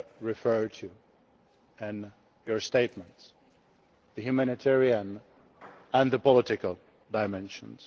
referred to in your statements the humanitarian and the political dimensions.